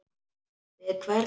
Við hvern?